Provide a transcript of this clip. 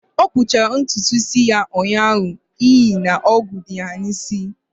Ọ kpụchara ntutu isi ya ụnyaahụ n'ihi na ogwu dị ya n'isi